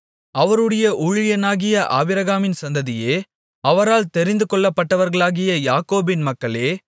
அவருடைய ஊழியனாகிய ஆபிரகாமின் சந்ததியே அவரால் தெரிந்து கொள்ளப்பட்டவர்களாகிய யாக்கோபின் மக்களே